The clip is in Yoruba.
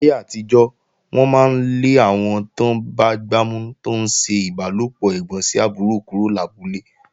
Láyé àtijọ́, wọ́n máa ń lé àwọn tán bá gbámú tó ń ṣe ìbálòpọ̀ ẹ̀gbọ́n sí àbúrò kúrò lábúlé.